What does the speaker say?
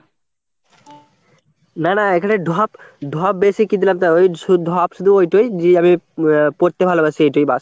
না না এখানে ঢপ ঢপ বেশি কি দিলাম তা ওই শুধু ধপ শুধু ওই টোই যে আমি পড়তে ভালোবাসি এটাই ব্যাস।